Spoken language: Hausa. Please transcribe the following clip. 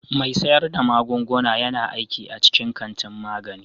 Mai sayar da magunguna yana aiki a cikin kantin magani.